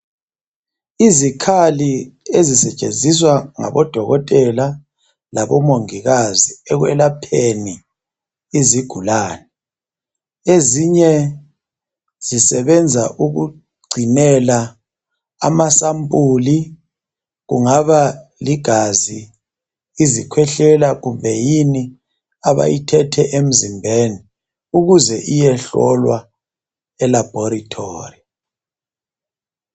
Izikhali ezisetshenziswa ngabo Dokotela labo Mongikazi ekwelapheni izigulane . Ezinye zisebenza ukugcinela amasampuli. Kungaba ligazi .Izikhwehlela kumbe yini abayithethe emzimbeni ukuze iyehlolwa elaboratory.